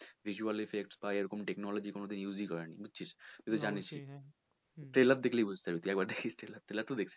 visual effects বা এরকম technology এরকম কোনো দিন use ই করেনি বুঝছিস তুই তো জানিস ই trailer দেখলেই বুঝতে পারবি তুই একবার দেখিস তুই তো দেখেছিস trailer নিশ্চয়ই?